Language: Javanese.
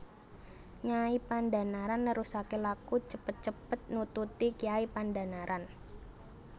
Nyai Pandhanaran nerusaké laku cepet cepet nututi Kyai Pandhanaran